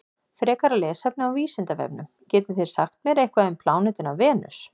Frekara lesefni á Vísindavefnum: Getið þið sagt mér eitthvað um plánetuna Venus?